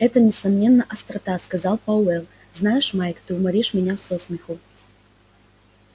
это несомненно острота сказал пауэлл знаешь майк ты уморишь меня со смеху